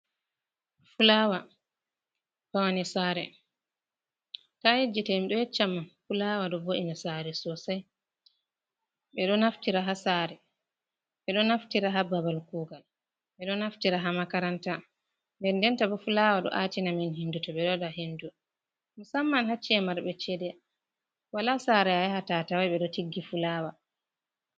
fulaawa, pawne saare, to a yejjitay mi ɗo yecca mon fulaawa ɗo bo’i na saare sosay , ɓe ɗo naftira haa saare, ɓe ɗo naftira haa babal kuugal, ɓe ɗo naftira haa makaranta, ndendenta bo fulaawa ɗo `atina a min henndu, to ɓe ɗo waɗa henndu, musamman haa ci`e marɓe ceede, walaa saare a yahata a taway ɓe ɗo tiggi fulaawa.